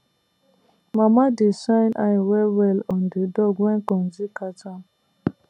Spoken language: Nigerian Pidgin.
mama dey shine eye wellwell on di dog when konji catch am